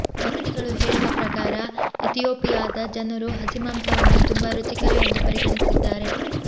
ವರದಿಗಳು ಹೇಳುವ ಪ್ರಕಾರ ಇಥಿಯೋಪಿಯಾದ ಜನರು ಹಸಿ ಮಾಂಸವನ್ನು ತುಂಬಾ ರುಚಿಕರ ಎಂದು ಪರಿಗಣಿಸಿದ್ದಾರೆ